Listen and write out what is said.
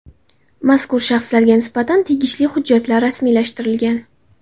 Mazkur shaxslarga nisbatan tegishli hujjatlar rasmiylashtirilgan.